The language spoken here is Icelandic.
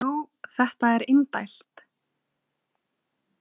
Jú, þetta er indælt